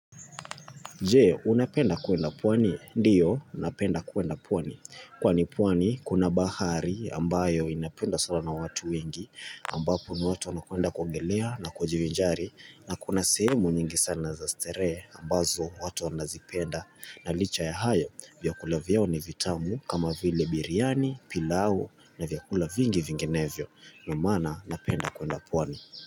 Je, unapenda kuenda pwani? Ndiyo, napenda kuenda pwani. Kwani pwani, kuna bahari ambayo inapendwa sana na watu wengi, ambapo ni watu wanakwenda kuogelea na kujivinjari, na kuna sehemu nyingi sana za starehe ambazo watu wanazipenda. Na licha ya hayo, vyakula vyao ni vitamu kama vile biryani, pilau na vyakula vingi vingenevyo. Ndio maana, napenda kuenda pwani.